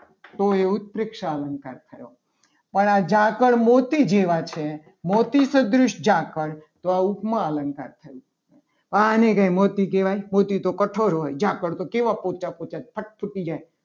તો એ ઉત્પ્રેક્ષા અલંકાર થયો. અને આ ઝાકળ મોતી જેવા છે મોતી તદ્રશ્ય ઝાકળ તો આ ઉપમા અલંકાર થયો. તો આજે કંઈ મોતી કહેવાય મોતી તો કઠણ હોય. જાકર તો કેવા પોચા પોચા હોય ફટ તૂટી જાય.